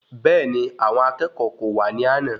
Bẹẹni, àwọn akẹ́kọ̀ọ́ kò wá ní àna